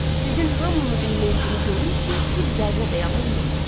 Sizin hamınızın meidini görüm ki, bir zərrə də yalan yoxdur.